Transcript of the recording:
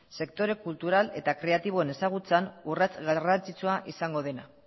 sektore kultural eta kreatiboen ezagutzan urrats garrantzitsua izango dena